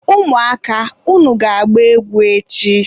ụmụaka! unu ga-agba egwu echi!